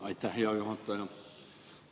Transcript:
Aitäh, hea juhataja!